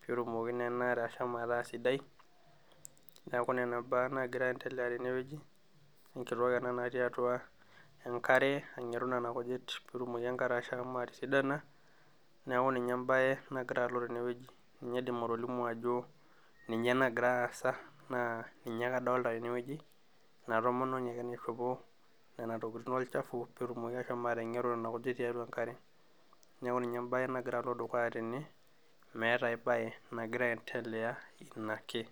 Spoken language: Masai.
pee etumoki naa enaare ashomo ataa sidai. Niaku nena baa naagira aaendelea tenewueji, enkitok ena natii atua enkare angeru nena kujit peetumoki enkare ashomo atisidana niaku ninye enbae nagira alo tenewueji. Ninye aidim atolimu ajo ninye nagira aasa naa ninye ake adolita tenewueji ena tomononi aje naishopo nena tokitin olchafu peetumoki ashomo atengeru nena kijit tiatua enkare. Niaku ninye embae nagira alotu dukuya tene meeta ae bae nagira aendelea ina ake